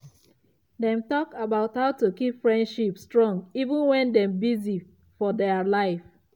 he think about recent changes and ask people around am to share wetin dem think.